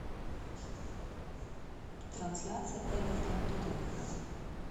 трансляция эвертон тоттенхэм